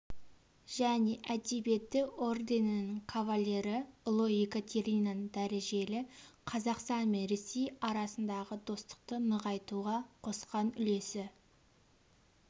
және әдебиеті орденінің кавалері ұлы екатеринаның дәрежелі қазақстан мен ресей арасындағы достықты нығайтуға қосқан үлесі